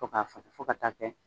Fo ka fasa, fo ka taa kɛ.